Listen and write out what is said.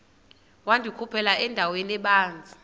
wandikhuphela endaweni ebanzi